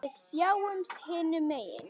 Við sjáumst hinum megin.